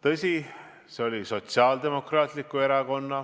Tõsi, see oli Sotsiaaldemokraatliku Erakonna,